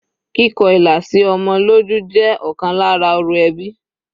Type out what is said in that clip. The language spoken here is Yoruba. Kíkọ ilà sí ọmọ lójú jẹ́ ọ̀kan lára orò ẹbí.